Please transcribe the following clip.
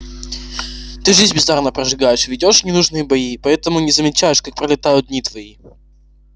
ты жизнь бездарно прожигаешь ведёшь ненужные бои и поэтому не замечаешь как пролетают дни твои